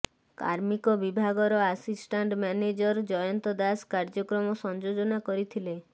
କାର୍ମିକ ବିଭାଗର assistant manager Jayanta Das କାର୍ଯ୍ୟକ୍ରମ ସଂଯୋଜନା କରିଥିଲେ